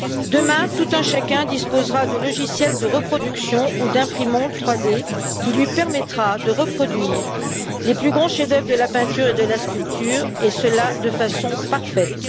Demain, tout un chacun disposera de logiciels de reproduction ou d'imprimantes 3D qui lui permettront de reproduire les plus grands chefs d'œuvre de la peinture et de la sculpture et cela de façon parfaite.